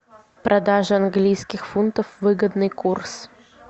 продажа английских фунтов выгодный курс